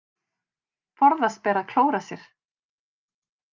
Forðast ber að klóra sér.